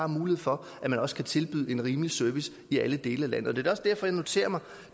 mulighed for at man også kan tilbyde en rimelig service i alle dele af landet det er også derfor jeg noterer mig